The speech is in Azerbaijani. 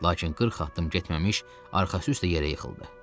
Lakin 40 addım getməmiş, arxası üstə yerə yıxıldı.